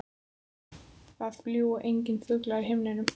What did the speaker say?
Það fljúga engir fuglar í himninum.